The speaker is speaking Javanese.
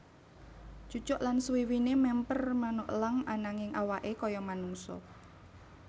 Cucuk lan suwiwiné mèmper manuk elang ananging awaké kaya manungsa